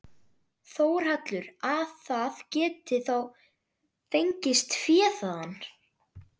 Þórhallur: Að það geti þá fengist fé þaðan?